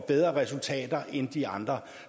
bedre resultater end de andre